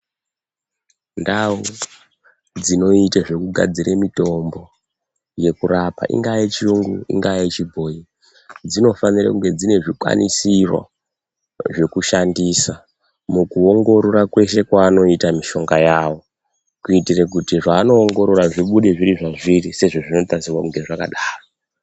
Ndawu dzinoite zvekugadzire mitombo yekurapa, ingaa yechiyungu, inga yechibhoyi, dzinofanire kunge dzinezvikwanisiro zvekushandisa mukuwongorora kweshe kwaanoita mishonga yawo. Kuitire kuti zvavanowongorora zvibude zviri zvazviri sezvazvinotarisirwa kunge zvakadaro.